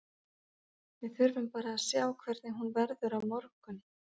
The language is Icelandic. Við þurfum bara að sjá hvernig hún verður á morgun.